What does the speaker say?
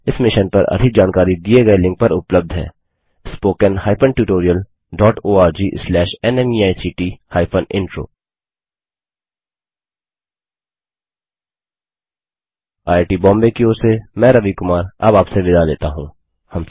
इस मिशन पर अधिक जानकारी दिए गए लिंक पर उपलब्ध है httpspoken tutorialorgNMEICT Intro यह स्क्रिप्ट रवि कुमार द्वारा अनुवादित है तथा आईआई टी बॉम्बे की ओर से मैं रवि कुमार अब आपसे विदा लेता हूँ धन्यवाद